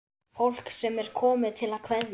Fólk sem er komið til að kveðja.